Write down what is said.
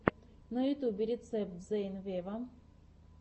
на ютюбе рецепт зейн вево